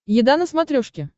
еда на смотрешке